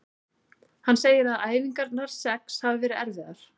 Hann segir að æfingarnar sex hafi verið erfiðar.